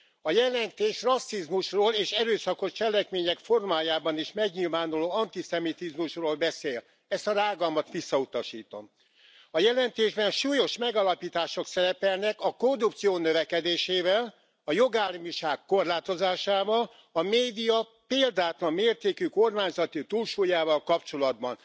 A jelentés rasszizmusról és erőszakos cselekmények formájában is megnyilvánuló antiszemitizmusról beszél. Ezt a rágalmat visszautasítom. A jelentésben súlyos megállapítások szerepelnek a korrupció növekedésével, a jogállamiság korlátozásával, a média példátlan mértékű kormányzati túlsúlyával kapcsolatban.